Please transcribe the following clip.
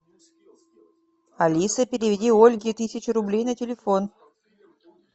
алиса переведи ольге тысячу рублей на телефон